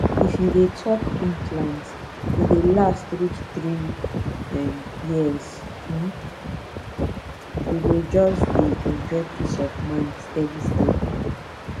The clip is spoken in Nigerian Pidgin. if you dey talk implant e dey last reach three um years um you go just dey enjoy peace of mind steady steady